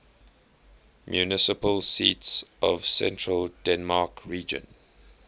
municipal seats of central denmark region